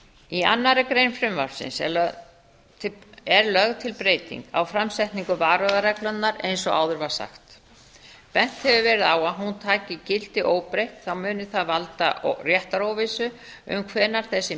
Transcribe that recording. í annarri grein frumvarpsins er lögð til breyting á framsetningu varúðarreglunnar eins og áður var sagt bent hefur verið á að taki hún gildi óbreytt muni það valda réttaróvissu um hvenær þessi